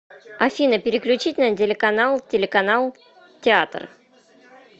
афина переключить на телеканал телеканал театр